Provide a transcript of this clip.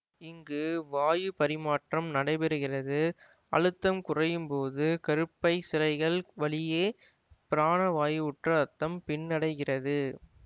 இங்கு வாயுபரிமாற்றம் நடைபெறுகிறது அழுத்தம் குறையும்போது கருப்பை சிரைகள் வழியே பிராணவாயுவுற்ற இரத்தம் பின்னடைகிறது